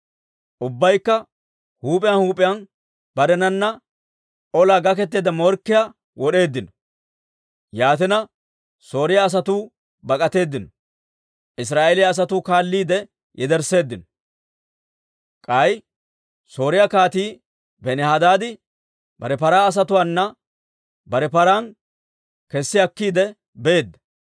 Ubbaykka huup'iyaan huup'iyaan barenana olaa gaketeedda morkkiyaa wod'eeddino. Yaatina, Sooriyaa asatuu bak'atteedino; Israa'eeliyaa asatuu kaalliide yedersseeddino. K'ay Sooriyaa Kaatii Benihadaadi bare paraa asatuwaana bare paran kessi akkiide beedda.